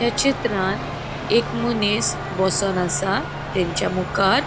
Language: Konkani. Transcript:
या चित्रान एक मनिस बोसोन आसा तेंचा मुखार.